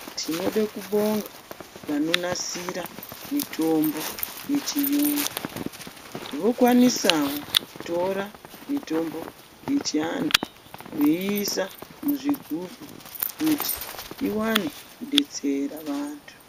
Tinode kubonga vanonasira mutombo yechiyungu .Vokwanisawo kutora mutombo yechiantu veiisa muzvigubhu kuti iwane kudetsera vantu.